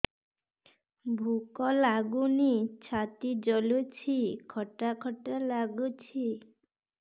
ଭୁକ ଲାଗୁନି ଛାତି ଜଳୁଛି ଖଟା ଖଟା ଲାଗୁଛି